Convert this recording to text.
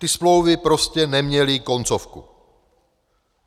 Ty smlouvy prostě neměly koncovku.